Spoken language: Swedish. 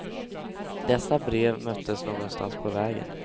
Dessa brev möttes någonstans på vägen.